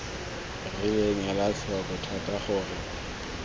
rileng ela tlhoko thata gore